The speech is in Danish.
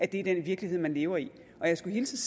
den virkelighed man lever i og jeg skulle hilse